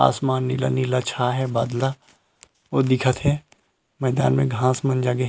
आसमान नीला-नीला छाये हे बादला ऊ दिखत हे मैदान में घांस मन लगे--